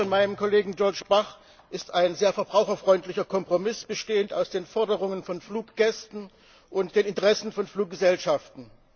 Der Bericht meines Kollegen Georges Bach ist ein sehr verbraucherfreundlicher Kompromiss bestehend aus den Forderungen von Fluggästen und den Interessen von Fluggesellschaften.